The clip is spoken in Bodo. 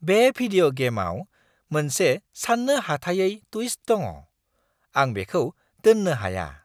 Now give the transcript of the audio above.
बे भिदिय' गेमआव मोनसे सान्नो हाथायै टुइस्ट दङ। आं बेखौ दोन्नो हाया!